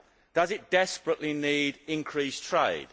Does it desperately need increased trade?